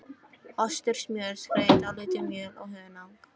Ostur, smjör, skreið, dálítið mjöl og hunang.